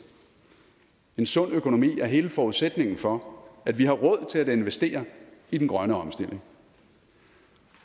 en sund økonomi er hele forudsætningen for at vi har råd til at investere i den grønne omstilling